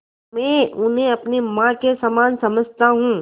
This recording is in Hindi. मैं उन्हें अपनी माँ के समान समझता हूँ